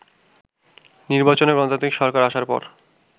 নির্বাচনে গণতান্ত্রিক সরকার আসার পর